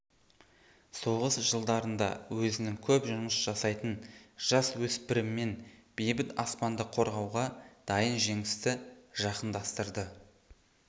соғыс жылдарында өзінің көп жұмыс жасайтын жасөспірімімен бейбіт аспанды қорғауға дайын жеңісті жақындастырды